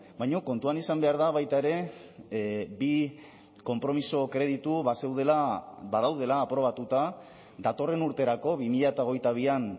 baina kontuan izan behar da baita ere bi konpromiso kreditu bazeudela badaudela aprobatuta datorren urterako bi mila hogeita bian